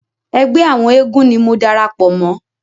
Ẹgbẹ́ àwọn eégún ni mo darapọ̀ mọ́.